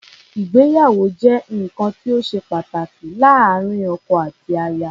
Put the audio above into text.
Ìgbéyàwó jẹ́ nǹkan tí ó ṣe pàtàkì láàárín ọkọ àti aya.